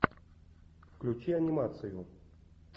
включи анимацию